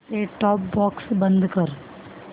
set top box बंद कर